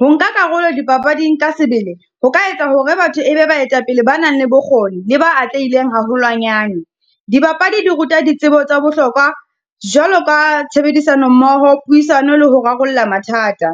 Ho nka karolo dipapading ka sebele, ho ka etsa hore batho e be baetapele ba nang le bokgoni le ba atlehileng haholwanyane. Dibapadi di ruta ditsebo tsa bohlokwa jwalo ka tshebedisano mmoho, puisano le ho rarolla mathata,